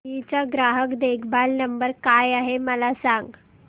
GE चा ग्राहक देखभाल नंबर काय आहे मला सांग